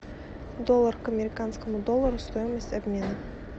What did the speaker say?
доллар к американскому доллару стоимость обмена